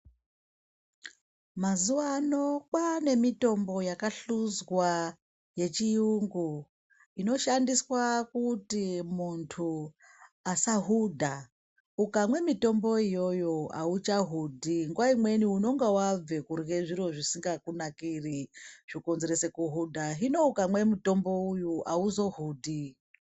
Mazuwano kwane mitombo yakahluzwa yechiyungu inoshandiswa kuti muntu asahudha, ukamwe mitombo iyoyo auchahudhi nguwaimweni unonga wabve kurya zviro zvisingakunakiri zvokonzerese kuhudha hino ukamwe mutombo uyu auzohudhi.